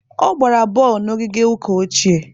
Ọ gbara bọọlụ na ogige ụka ochie.